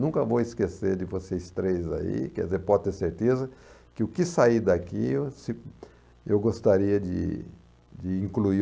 Nunca vou esquecer de vocês três aí, quer dizer, pode ter certeza que o que sair daqui se eu gostaria de de incluir.